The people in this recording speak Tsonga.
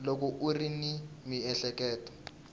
loko u ri ni miehleketo